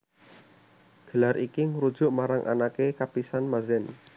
Gelar iki ngrujuk marang anaké kapisan Mazen